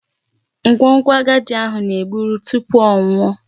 Nkwonkwo agadi ahụ. na-egburu tupu ọ nwụọ.